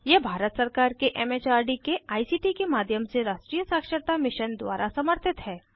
यह भारत सरकार के एम एच आर डी के आई सी टी के माध्यम से राष्ट्रीय साक्षरता मिशन द्वारा समर्थित है